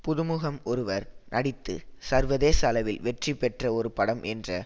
புதுமுகம் ஒருவர் நடித்து சர்வதேச அளவில் வெற்றி பெற்ற ஒரு படம் என்ற